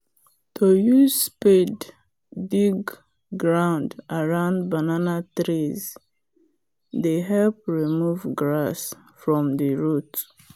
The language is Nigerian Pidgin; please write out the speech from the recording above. to use spade dig ground around banana trees dey help remove grass from the root.